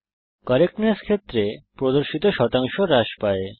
correctness ক্ষেত্রে প্রদর্শিত শতাংশ হ্রাস পায়